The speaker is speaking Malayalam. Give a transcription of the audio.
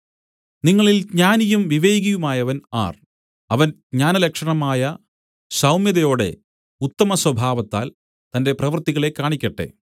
നിങ്ങളിൽ ജ്ഞാനിയും വിവേകിയുമായവൻ ആർ അവൻ ജ്ഞാനലക്ഷണമായ സൗമ്യതയോടെ ഉത്തമസ്വഭാവത്താൽ തന്റെ പ്രവൃത്തികളെ കാണിക്കട്ടെ